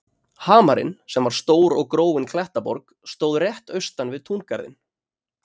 Hamarinn, sem var stór og gróin klettaborg, stóð rétt austan við túngarðinn.